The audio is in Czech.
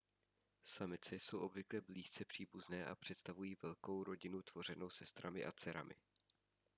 samice jsou obvykle blízce příbuzné a představují velkou rodinu tvořenou sestrami a dcerami